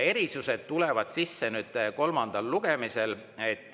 Erisused tulevad sisse kolmandal lugemisel.